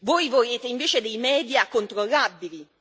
Voi volete invece dei media controllabili.